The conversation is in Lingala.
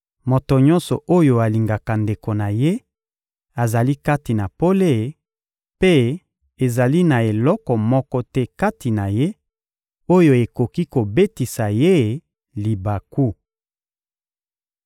Moto nyonso oyo alingaka ndeko na ye azali kati na pole; mpe ezali na eloko moko te kati na ye, oyo ekoki kobetisa ye libaku.